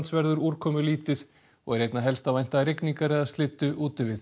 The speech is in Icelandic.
verður úrkomulítið og er einna helst að vænta rigningar eða slyddu úti við